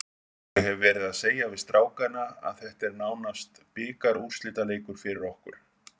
Ég hef verið að segja við strákana að þetta er nánast bikarúrslitaleikur fyrir okkur.